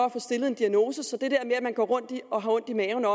at få stillet en diagnose så det at man går rundt og har ondt i maven og